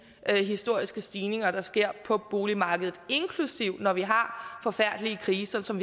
historiske stigninger der sker på boligmarkedet inklusive perioder hvor vi har forfærdelige kriser som